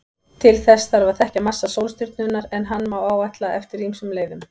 Til þess þarf að þekkja massa sólstjörnunnar, en hann má áætla eftir ýmsum leiðum.